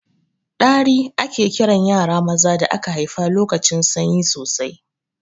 Ɗari ake kiran yara maza da aka haifa lokacin sanyi sosai